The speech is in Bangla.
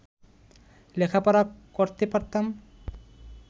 লেখাপড়া করতে পারতাম